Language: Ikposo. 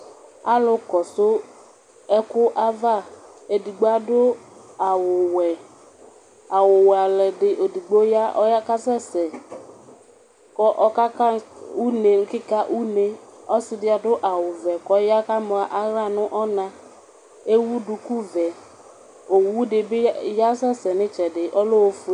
Alʋ kɔsʋ ɛkʋava adʋ awʋwɛ, awʋwɛ ɔlʋ edigbo ɔya kʋ ɔkasɛsɛ kʋ ɔkaka une nʋ kika une Ɔsidibadʋ awʋvɛ kʋ ɔya kʋ adʋ aɣla nʋ ɔna, ewʋ dukuvɛ, owʋ dibi asɛsɛ nʋ itsɛdi ɔlɛ ofue